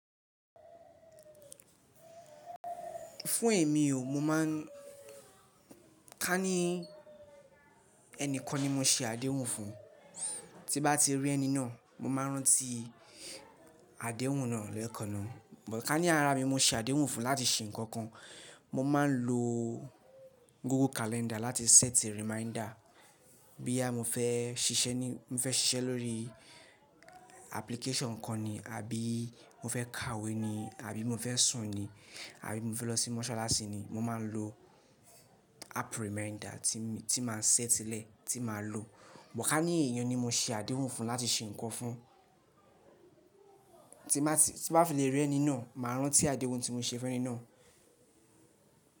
Fún èmi o, mo má ń ká ní ẹni kan ni mo se àdéhùn fún, tí nbá ti rí ẹni náà, mo máa rántí àdéhùn náà lẹ́ẹ̀kaná. But ká ní ara mi mo se àdéhùn fún láti ṣe nǹkan kan, mo máa ń lo Google Calendar láti set reminder. Bo yà mo fẹ́ ṣiṣẹ́ ní, mo fẹ́ ṣiṣẹ́ lórí application kan ni, àbí mo fẹ́ kàwé ni, àbí mo fẹ́ sùn ni, àbí mo fẹ́ lọ sí mọ́ṣáláṣí ni, mo máa ń lo app reminder tí máa set lẹ́ẹ̀, tí màá lo. But ká ní èèyàn ni mo se àdéhùn fún láti ṣe nǹkan fún, tí nbá fi lè rí ẹni náà, màá rántí àdéhùn tí mo ṣe fún ẹni náà.